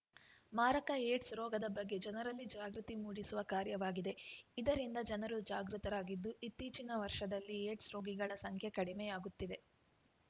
ಮಾರಕ ಏಡ್ಸ್‌ ರೋಗದ ಬಗ್ಗೆ ಜನರಲ್ಲಿ ಜಾಗೃತಿ ಮೂಡಿಸುವ ಕಾರ್ಯವಾಗಿದೆ ಇದರಿಂದ ಜನರು ಜಾಗೃತರಾಗಿದ್ದು ಇತ್ತೀಚಿನ ವರ್ಷದಲ್ಲಿ ಏಡ್ಸ್‌ ರೋಗಿಗಳ ಸಂಖ್ಯೆ ಕಡಿಮೆಯಾಗುತ್ತಿದೆ